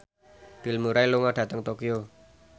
Bill Murray lunga dhateng Tokyo